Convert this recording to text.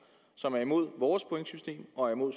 som er imod vores pointsystem og imod